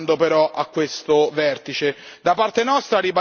Come ci stiamo avvicinando, però, a questo vertice?